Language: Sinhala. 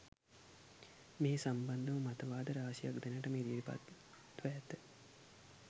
මේ සම්බන්ධ මතවාද රාශියක් දැනට ඉදිරිපත්ව ඇත.